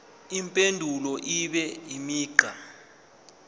impendulo ibe imigqa